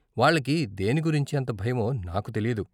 వాళ్ళకి దేని గురించి అంత భయమో నాకు తెలియదు.